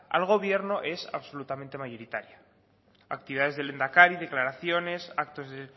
al gobierno es absolutamente mayoritaria actividades del lehendakari declaraciones actos de